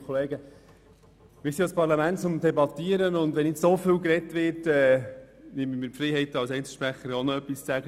Wir sind ja ein Parlament um zu debattieren, und wenn nun so viel gesprochen wird, nehme ich mir die Freiheit, als Einzelsprecher auch noch etwas zu sagen.